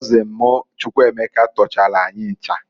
Kọzịn m Chukwuemeka tọchalụ anyị ncha.